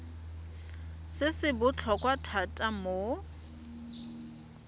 se se botlhokwa thata mo